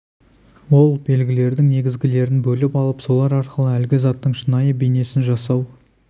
ол белгілердің негізгілерін бөліп алып солар арқылы әлгі заттың шынайы бейнесін жасау